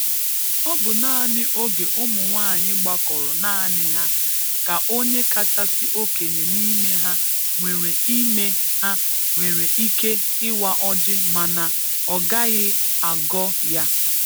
Ọ bụ naanị oge ụmụnwaanyị gbakọrọ naanị ha ka onye kachasị okenye n'ime ha nwere n'ime ha nwere ike ịwa ọjị mana ọgaghị agọ ya.